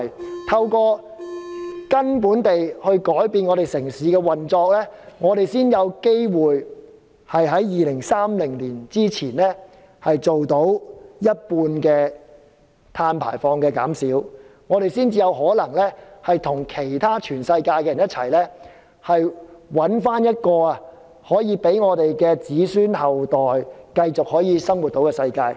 只有從根本改變整個城市的運作，我們才有機會在2030年前做到減少一半碳排放，才有可能與全世界一同找出讓我們的子孫後代可以繼續生活的世界。